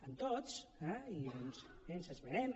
amb tots eh i doncs ens esmenem